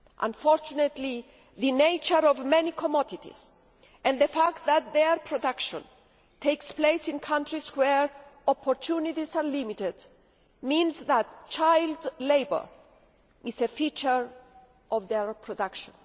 Unfortunately, the nature of many commodities, and the fact that their production takes place in countries where opportunities are limited, means that child labour is a feature of their production.